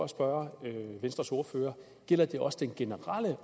spørge venstres ordfører gælder det også den generelle